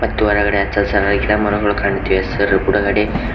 ತ್ತು ಹೊರಗಡೆ ಹಚ್ಚಸಿರ ಗಿಡಮರಗಳು ಕಾಣಿತ್ತೇವೆ ಸರ್ ಬುಡಗಡೆ--